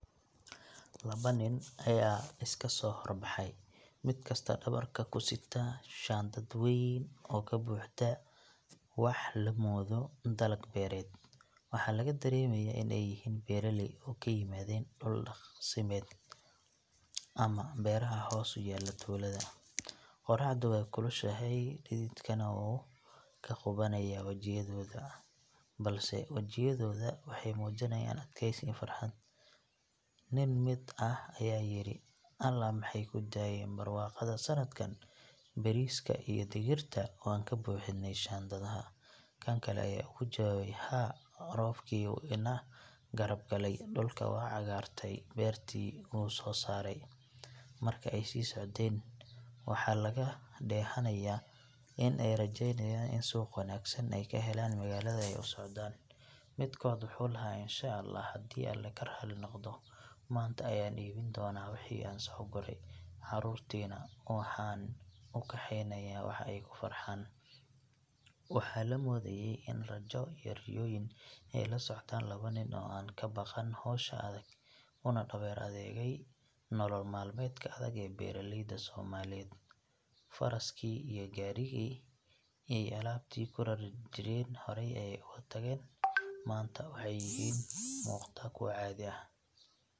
Laba nin ayaa iska soo hor baxay, mid kasta dhabarka ku sita shandad weyn oo ka buuxda wax la moodo dalag beereed. Waxaa laga dareemayaa in ay yihiin beeraley, oo ay ka yimaadeen dhul daaqsimeed ama beeraha hoos u yaalla tuulada. Qorraxdu way kulushahay, dhididkana wuu ka qubanayaa wajiyadooda, balse wejiyadoodu waxay muujinayaan adkaysi iyo farxad. Nin mid ah ayaa yidhi, "Alla maxay ku daayeen barwaaqada sanadkan, bariiska iyo digirta waan ka buuxinnay shandadaha." Kan kale ayaa ugu jawaabay, "Haa, roobkii wuu na garab galay, dhulka wuu caga dhigtay, beertii wuu soo saaray." Markii ay sii socdeen, waxaa laga dheehanayay in ay rajeynayaan in suuq wanaagsan ay ka helaan magaalada ay u socdaan. Midkood wuxuu lahaa, "Insha Allaah, haddii Alle raali ka noqdo, maanta ayaan iibin doonaa wixii aan soo guray, carruurtiina waxaan u keenayaa wax ay ku farxaan." Waxaa la moodayay in rajo iyo riyooyin ay la socdaan laba nin oo aan ka baqan hawsha adag, una dhabar adaygay nolol maalmeedka adag ee beeraleyda Soomaaliyeed. Faraskii iyo gaadhigii ay alaabtii ku raran jireen horey ayay uga tageen, maanta waxay yihiin kuwo ku kalsoon tallaabadooda, iyaga oo lugaynaya haddana wadan ficil ah iyo himilo. Beeraleydan yar ee u muuqda kuwo caadi ah.